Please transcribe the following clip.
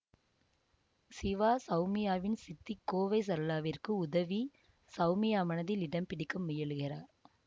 சிவா சௌமியாவின் சித்தி கோவை சரளாவிற்கு உதவி சௌமியா மனதில் இடம் பிடிக்க முயலுகிறார்